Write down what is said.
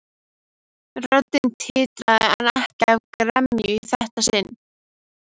Röddin titraði en ekki af gremju í þetta sinn.